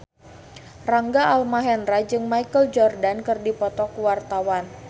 Rangga Almahendra jeung Michael Jordan keur dipoto ku wartawan